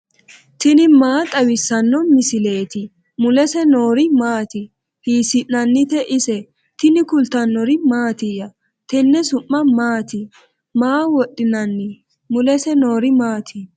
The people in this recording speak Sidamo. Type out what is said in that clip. tini maa xawissanno misileeti ? mulese noori maati ? hiissinannite ise ? tini kultannori mattiya? Tenne su'mi maatti? Maa wodhinnanni? Mulese noori maatti?